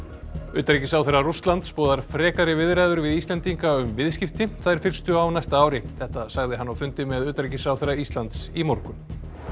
utanríkisráðherra Rússlands boðar frekari viðræður við Íslendinga um viðskipti þær fyrstu á næsta ári þetta sagði hann á fundi með utanríkisráðherra Íslands í morgun